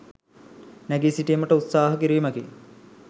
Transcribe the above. නැගී සිටීමට උත්සාහ කිරීමකි.